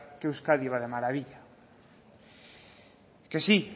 que euskadi va de maravilla que sí